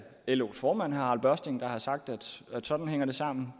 los formand harald børsting der har sagt at sådan hænger det sammen